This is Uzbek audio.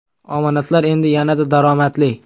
Omonatlar endi yanada daromadli!.